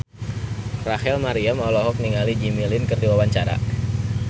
Rachel Maryam olohok ningali Jimmy Lin keur diwawancara